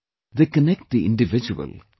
They connect the individual with society